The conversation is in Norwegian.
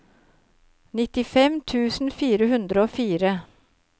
nittifem tusen fire hundre og fire